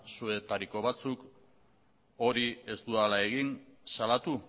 zuetariko batzuk hori ez dudala egin salatu